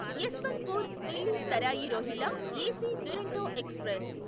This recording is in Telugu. Yesvantpur Delhi Sarai Rohilla AC Duronto express